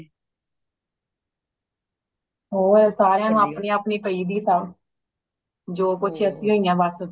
ਹੋਰ ਸਾਰਿਆਂ ਨੂੰ ਆਪਣੀ ਆਪਣੀ ਪਯੀ ਦੀਏ ਜੋ ਕੁਛ ਏ ਅੱਸੀ ਹੋਆ ਬੱਸ